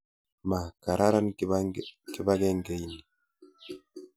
Ma kararan kipakengeit ni.